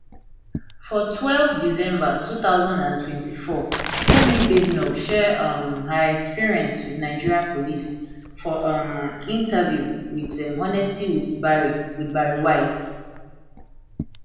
for twelve december two thousand and twenty-four kemi badenoch share um her experience wit nigerian police for um interview wit honestly with bari with bari weiss